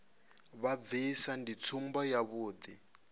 vha bvisa ndi tsumbo yavhuḓi